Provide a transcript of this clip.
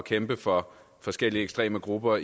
kæmpe for forskellige ekstreme grupper